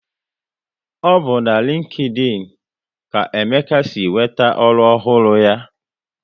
Ọ bụ na LinkedIn ka Emeka si nweta ọrụ ọhụrụ ya